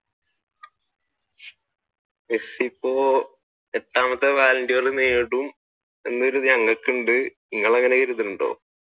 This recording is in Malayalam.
മെസ്സി ഇപ്പൊ എട്ടാമത്തെ balloon dOr നേടും